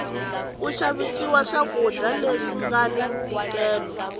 ku xaviwa swa kudya leswi ngani ntikelo